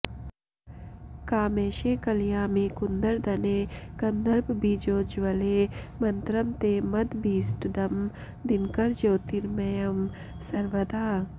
कामेशे कलयामि कुन्दरदने कन्दर्पबीजोज्ज्वले मन्त्रं ते मदभीष्टदं दिनकरज्योतिर्मयं सर्वदा